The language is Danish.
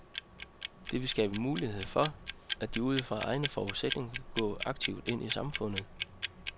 Det vil skabe mulighed for, at de ud fra egne forudsætninger kan indgå aktivt i samfundet.